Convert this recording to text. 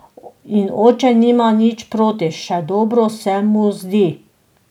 In oče nima nič proti, še dobro se mu zdi.